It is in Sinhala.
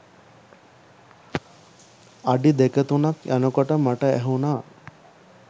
අඩි දෙක තුනක් යනකොට මට ඇහුන